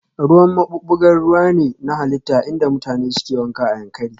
Ruwan maɓuɓɓugar ruwa ne na halitta inda mutane suke wanka a Yankari